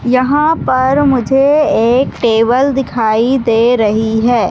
यहाँ पर मुझे एक टेबल दिखाई दे रहीं है।